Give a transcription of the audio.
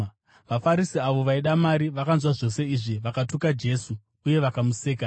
VaFarisi, avo vaida mari vakanzwa zvose izvi vakatuka Jesu uye vakamuseka.